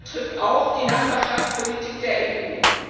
Das betrifft auch die Nachbarschaftspolitik der EU.